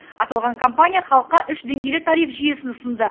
аталған компания халыққа үш деңгейлі тариф жүйесін ұсынды